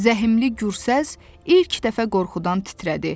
Zəhimli gürsəs ilk dəfə qorxudan titrədi.